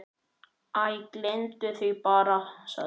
Æ, gleymdu því bara- sagði